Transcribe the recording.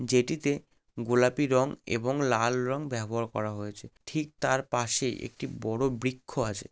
যেটি তে গোলাপি রং এবং লাল রং ব্যবহার করা হয়েছে ঠিক তার পাশেই একটি বড়ো বৃক্ষ আছে।